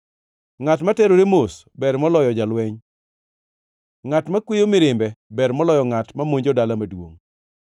Ngʼat ma terore mos ber moloyo jalweny, ngʼat makweyo mirimbe ber moloyo ngʼat mamonjo dala maduongʼ.